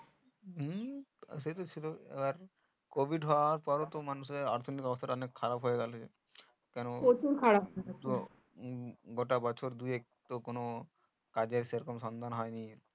হু সেট ছিল আর COVID হওয়ার পর তো মানুষের অর্থনিক অবস্থা অনেক খারাপ হয়ে গেলো গোটা বছর দু এক কোনো কাজের সেরকম সন্ধান হয়নি